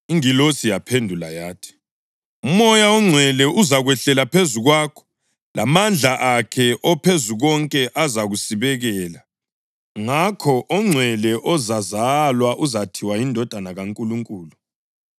Ingilosi yaphendula yathi, “UMoya oNgcwele uzakwehlela phezu kwakho, lamandla akhe oPhezukonke azakusibekela. Ngakho ongcwele ozazalwa uzathiwa yiNdodana kaNkulunkulu.